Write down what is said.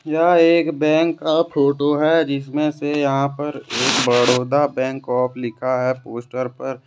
यह एक बैंक का फोटो है जिसमें से यहां पर एक बड़ौदा बैंक ऑफ लिखा है पोस्टर पर।